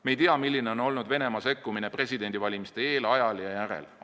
Me ei tea, milline on olnud Venemaa sekkumine presidendivalimiste eel, ajal ja järel.